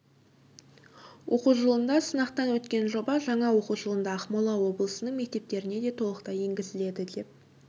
оқу жылында сынақтан өткен жоба жаңа оқу жылында ақмола облысының мектептеріне де толықтай енгізіледі деп